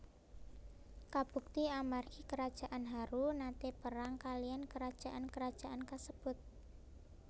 Kabukti amargi kerajaan Haru naté perang kaliyan kerajaan kerajaan kasebut